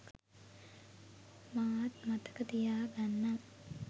මාත් මතක තියාගන්නම්